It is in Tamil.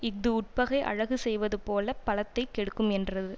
இஃது உட்பகை அழகு செய்வது போல பலத்தை கெடுக்குமென்றது